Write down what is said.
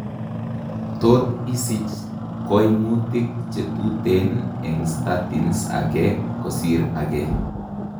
Tot isich koimutik chetuten eng' statin ake kosiir ake